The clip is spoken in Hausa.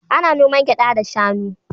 Ana noman gyaɗa da shanu.